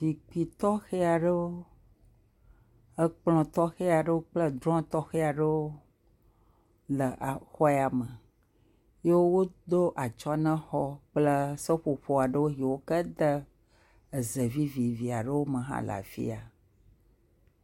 Zikpi ytɔxɛ aɖewo, ekplɔ̃ tɔxɛ aɖewo kple drɔ̃ɔɔ tɔxɛ aɖewo le exɔ ya me. ye wodo atsyɔ̃ na xɔɔ kple seƒoƒo aɖewo yiwo ke tee ze vivivi aɖewo me hele afi ya.